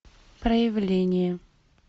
проявление